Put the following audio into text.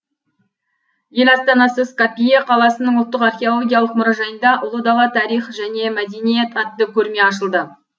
ел астанасы скопье қаласының ұлттық археологиялық мұражайында ұлы дала тарих және мәдениет атты көрме ашылды